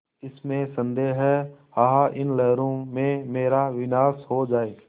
इसमें संदेह है आह उन लहरों में मेरा विनाश हो जाए